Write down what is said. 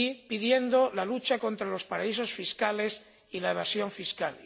pidiendo la lucha contra los paraísos fiscales y la evasión fiscal